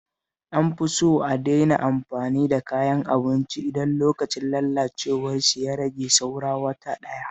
An fi so a daina amfani da kayan abinci idan lokacin lalacewarsu ya rage saura wata ɗaya